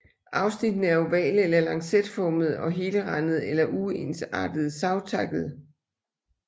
Afsnittene er ovale eller lancetformede og helrandede eller uensartet savtakkede